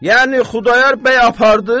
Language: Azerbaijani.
Yəni Xudayar bəy apardı?